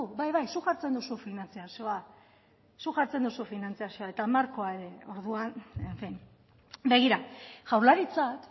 bai bai zuk jartzen duzu finantzazioa zuk jartzen duzu finantzazioa eta markoa ere orduan en fin begira jaurlaritzak